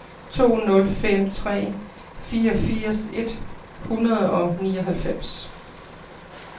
to nul fem tre fireogfirs et hundrede og nioghalvfems